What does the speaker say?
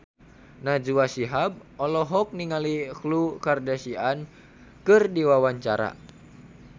Najwa Shihab olohok ningali Khloe Kardashian keur diwawancara